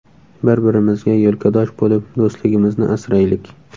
Bir-birimizga yelkadosh bo‘lib, do‘stligimizni asraylik!